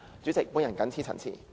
主席，我謹此陳辭。